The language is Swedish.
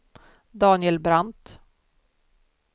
Daniel Brandt